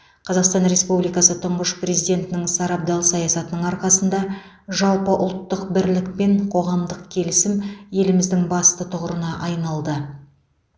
қазақстан республикасы тұңғыш президентінің сарабдал саясатының арқасында жалпыұлттық бірлік пен қоғамдық келісім еліміздің басты тұғырына айналды